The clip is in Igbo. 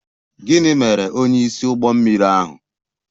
Gịnị mere onyeisi ụgbọ mmiri ahụ?